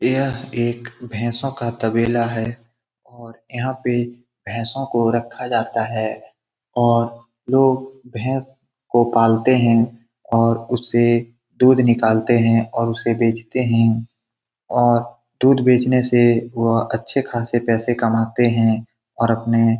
यह एक भेंसो का तबेला है और यहाँ पे भेंसो को रखा जाता है और लोग भेंस को पालते है और उसे दूध निकालते हैं और उसे बेचते है और दूध बेचने से वह अच्छे खासे पैसे कमाते हैं और अपने--